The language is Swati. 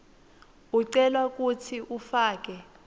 ucelwa kutsi ufake